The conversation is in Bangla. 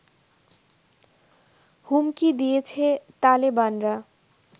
হুমকি দিয়েছে তালেবানরা